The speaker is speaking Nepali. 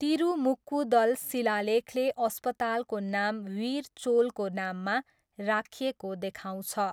तिरुमुक्कुदल शिलालेखले अस्पतालको नाम वीर चोलको नाममा राखिएको देखाउँछ।